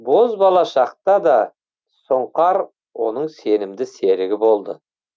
бозбала шақта да сұңқар оның сенімді серігі болды